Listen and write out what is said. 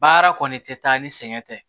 Baara kɔni tɛ taa ni sɛgɛn tɛ